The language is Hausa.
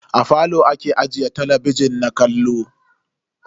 A falo ake ajiye talabijin na kallo.